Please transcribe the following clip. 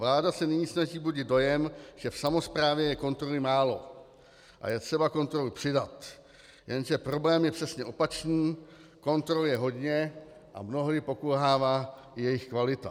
Vláda se nyní snaží budit dojem, že v samosprávě je kontroly málo a je třeba kontroly přidat, jenže problém je přesně opačný - kontrol je hodně a mnohdy pokulhává i jejich kvalita.